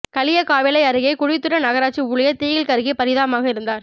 களியக்காவிளை அருகே குழித்துறை நகராட்சி ஊழியர் தீயில் கருகி பரிதாபமாக இறந்தார்